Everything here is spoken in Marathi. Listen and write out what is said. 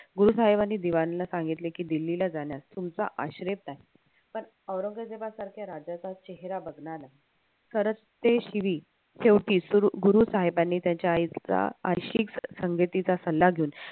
गुरुसाहेबांनी दिवानला सांगितले कि दिल्लीला जाण्यास तुमचा आश्रय पण औरंगजेबासारख्या राजाचा चेहरा बघणार नाही खरंच ते शेवटी गुरुसाहेबांनी त्याच्या आईचा संगतीचा सल्ला घेऊन